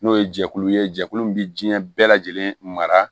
N'o ye jɛkulu ye jɛkulu min bɛ diɲɛ bɛɛ lajɛlen mara